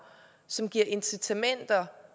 som giver incitamenter